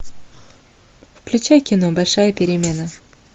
включай кино большая перемена